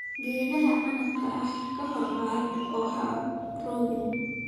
Geedaha canabka ah kor u qaad oo ha rogin.